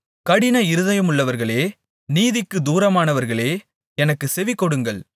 கடின இருதயமுள்ளவர்களே நீதிக்குத் தூரமானவர்களே எனக்குச் செவிகொடுங்கள்